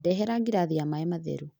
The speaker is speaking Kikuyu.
Ndehera ngirathi ya maĩ matheru